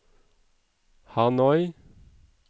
Hanoi